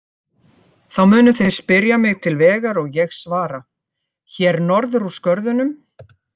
Þá munu þeir spyrja mig til vegar og ég svara: Hér norður úr skörðunum.